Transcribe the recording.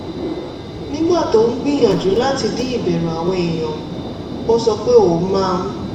nígbà tó ń gbìyànjú láti dín ìbẹ̀rù àwọn èèyàn kù ó sọ pé ó máa ń